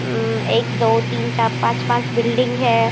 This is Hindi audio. म्म एक दो तीन चार पांच-पांच बिल्डिंग है।